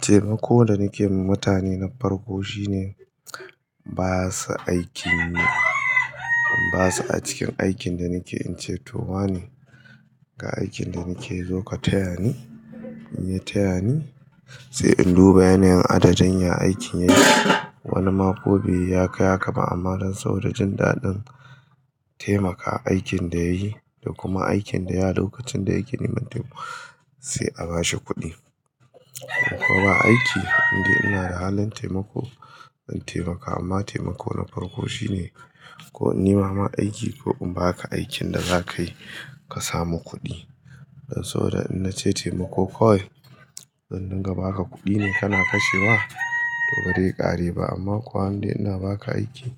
Taimako da nake yi da mutane na farko shine basu aikinyi, basa a cikin aikin da nake in ce towane, ga aikin da nake zo ka taya ni, in ya tayani sai in duba yanayin adadin ya aikin yayi. Wani ma kobe yi yakai hakaba amma don sabo da jin dadin taimaka aikin da yayi da kuma aikin da ya dauka tun da aikin ya manta sai a bashi kuɗi. Ko ba aiki indai ina da halin taimako in taimaka amma taimako na farko shine ko in yi nema ma aiki ko in baka aikin da za ka yi ka samu kuɗi. Don sau da in ce taimako kawai, don in riga baka kuɗi ne kana kashewa to bare ƙare ba amma kuwa inda ina baka aiki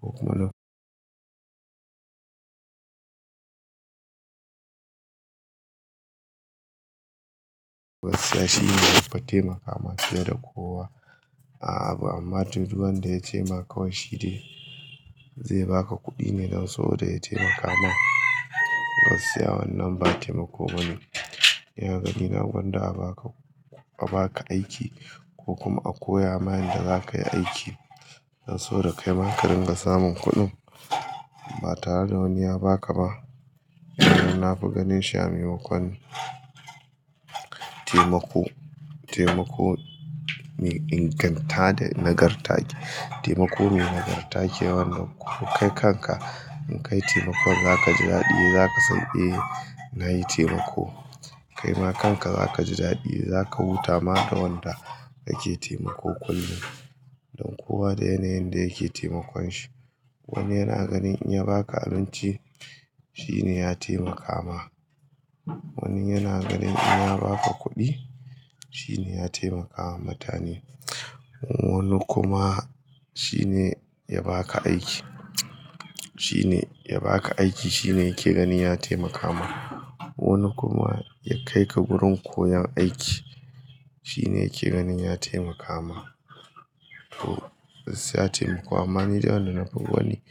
ko kuma gaskiya shine mafi taimaka ma fiye da kowa a abu amma duk wanda ya cema wai shi ne zai baka kuɗi ne don sabo da ya taimaka ma. Gaskiya wannan ba taimako bane. Ni a gani na gwanda a baka, a baka aiki ko kuma a koya ma yanda za ka yi aiki don sau da kaima ka ringa samun kuɗin ba tare da wani ya baka ba. Na fi ganin shi amaimakwon taimako, taimako mai inganta da nagarta. Taimako mai nagarta ke wannan ku kai kanka in kai taimakon za ka ji daɗi, za ka san "Eh na yi taimako." Kai ma kanka za ka ji daɗi, za ka huta ma da wanda kake taimako kullum. Don kowa da yanayin da yake taimakon shi. Wani yana ganin in ya baka abinci shi ne ya taimaka ma. Wani yana ganin in ya baka kuɗi shi ne ya taimaka wa mutane. Wani kuma shi ne ya baka aiki, shi ne ya baka aiki shi ne yake ganin ya taimaka ma. Wani kuma ya kai ka wurin koyon aiki shi ne yake ganin ya taimaka ma. To gaskiya taimako amma nidai wanda ya fi ko wanne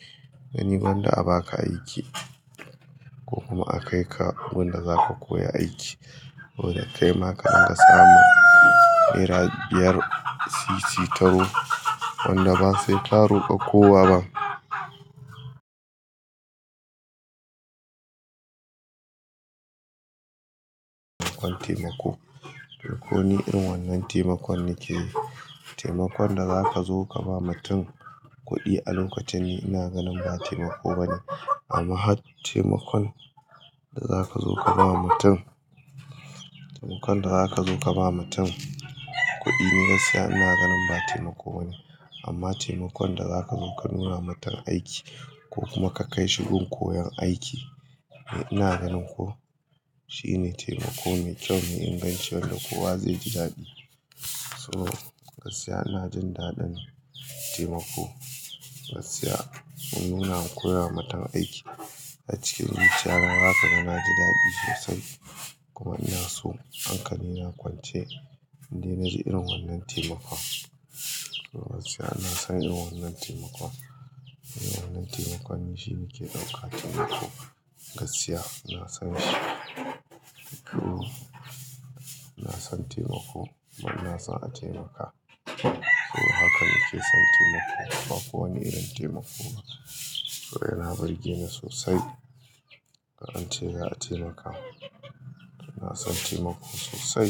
ganin gwanda a baka aiki ko kuma a kai ka gunda za ka koya aiki wanda kai maka ringa samun naira biyar, sisi taro wanda ba sai ka roka kowa ba. Taimako. Duk wani irin wannan taimakon nake yi. Taimakon da za ka zo ka ba mutum kuɗi a lokacin ne ina ganin ba taimako bane amma taimakon da za ka zo ka ba mutum, taimakon da za ka zo ka ba mutum kuɗi ni gaskiya ina ganin ba taimako bane amma taimakon da za ka zo ka nuna matum aiki ko kuma ka kai shi wurin koyon aiki ni ina ganin ko shi ne taimako mai kyau, mai inganci wanda kowa zai ji daɗi. To gaskiya ina jin daɗin taimako. Gaskiya in muna koya ma mutum aiki a cikin zuciya na, zakaga naji daɗi sosai kuma ina so hankali na kwance indai na ji irin wannan taimakon. To gaskiya ina son irin wannan taimakon. Irin wannan taimakon shi nake ɗauka taimako. Gaskiya ina son shi. To ina son taimako kuma ina son a taimaka. Eh haka nake son taimako. Bakowane irin taimako ba. To yana barge ni sosai ga an ce za a taimaka. Ina son taimako sosai.: